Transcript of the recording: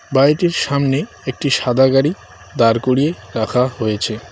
বাড়িটির সামনে একটি সাদা গাড়ি দাঁড় করিয়ে রাখা হয়েছে।